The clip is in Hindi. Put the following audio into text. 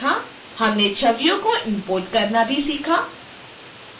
हमने छवियों को इम्पोर्ट करना भी सीखा